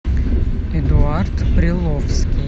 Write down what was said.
эдуард приловский